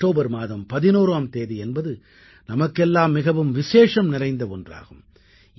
October மாதம் 11ஆம் தேதி என்பது நமக்கெல்லாம் மிகவும் விசேஷம் நிறைந்த ஒன்றாகும்